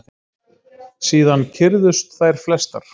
Síðan kyrrðust þær flestar.